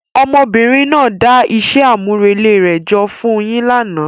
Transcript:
Ọmọbìnrin náà dá iṣẹ́ àmúrelé rẹ̀ jọ fún un yín lánàá.